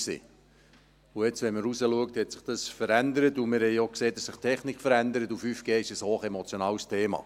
Und jetzt, wenn man rausschaut, hat sich dies verändert, und wir haben auch gesehen, dass sich die Technik verändert, und 5G ist ein hochemotionales Thema.